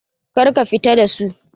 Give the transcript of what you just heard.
Kar ka fita da su!